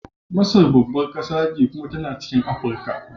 Masar babbar kasa ce kuma tana cikin Afirka.